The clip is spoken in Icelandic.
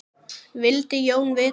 vildi Jón vita.